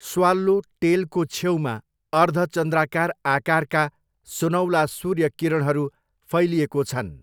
Swallow टेलको छेउमा अर्धचन्द्राकार आकारका सुनौला सूर्य किरणहरू फैलिएको छन्।